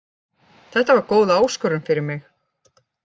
Þetta var góð áskorun fyrir mig.